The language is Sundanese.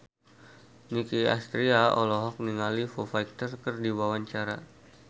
Nicky Astria olohok ningali Foo Fighter keur diwawancara